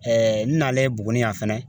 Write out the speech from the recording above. Ɛɛɛ n n'ale buguni yan fɛnɛ